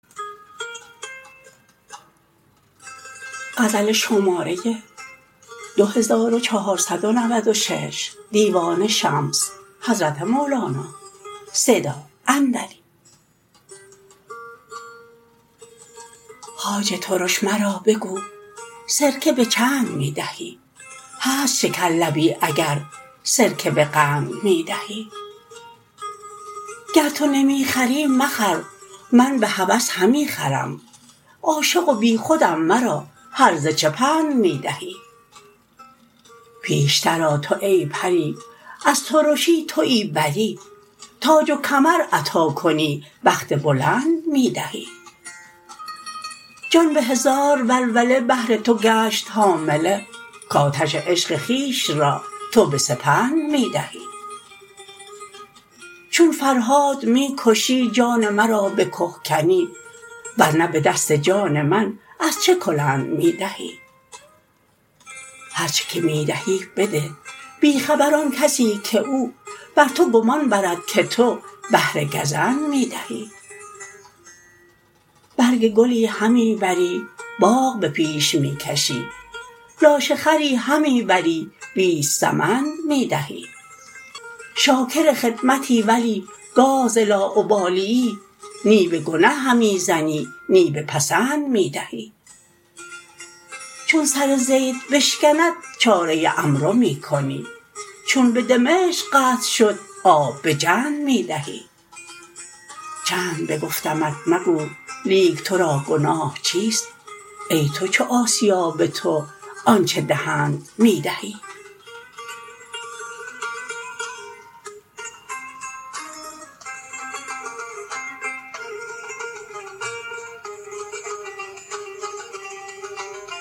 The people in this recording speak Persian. خواجه ترش مرا بگو سرکه به چند می دهی هست شکرلبی اگر سرکه به قند می دهی گر تو نمی خری مخر می به هوس همی خرم عاشق و بیخودم مرا هرزه چه پند می دهی پیشتر آ تو ای پری از ترشی توی بری تاج و کمر عطا کنی بخت بلند می دهی جان به هزار ولوله بهر تو گشت حامله کآتش عشق خویش را تو به سپند می دهی چون فرهاد می کشی جان مرا به که کنی ور نه به دست جان من از چه کلند می دهی هر چه که می دهی بده بی خبر آن کسی که او بر تو گمان برد که تو بهر گزند می دهی برگ گلی همی بری باغ به پیش می کشی لاشه خری همی بری بیست سمند می دهی شاکر خدمتی ولی گاه ز لاابالیی نی به گنه همی زنی نی به پسند می دهی چون سر زید بشکند چاره عمرو می کنی چون به دمشق قحط شد آب به جند می دهی چند بگفتمت مگو لیک تو را گناه چیست ای تو چو آسیا به تو آنچ دهند می دهی